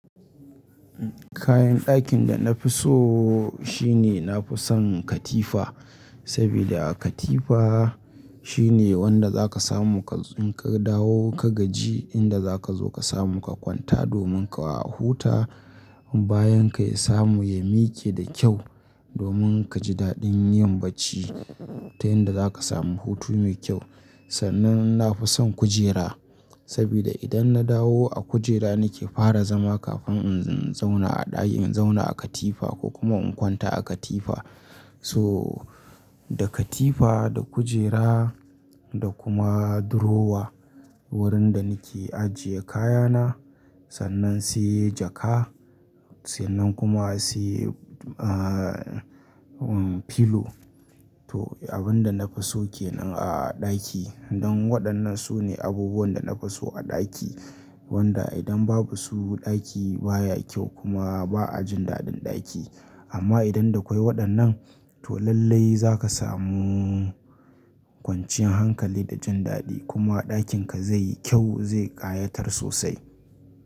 Kayan ɗakin da na fi so shine na fi son katifa. Saboda katifa shine wanda za ka samu ka, in ka dawo ka gaji inda za ka zo ka samu ka kwanta domin ka huta. Bayan ka ya samu ya mike da kyau, domin ka ji daɗin yin bacci. Ta yanda za ka samu hutu mai kyau. Sannan na fi son kujera. Saboda idan na dawo a kujera nake fara zama kafin in zauna a ɗaki, in zauna a katifa ko kuma in kwanta a katifa. So da katifa, da kujera da kuma durowa wurin da nake ajiye kayana. Sannan sai jaka, sannan kuma sai, ah, filo. To abin da na fi so kenan a ɗaki. Don waɗannan su ne abubuwan da na fi so a ɗaki. Wanda idan babu su ɗaki baya kyau kuma ba a ji daɗin ɗaki. Amma idan da kwai waɗannan to lallai za ka samu kwancin hankali da jin daɗi kuma ɗakinka zai yi kyau, zai ƙayatar sosai.